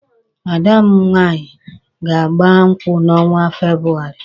Ada m nwaanyị ga-agba nkwụ n'ọnwa Febụwarị